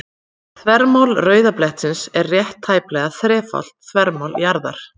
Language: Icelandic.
Þvermál rauða blettsins er rétt tæplega þrefalt þvermál jarðarinnar.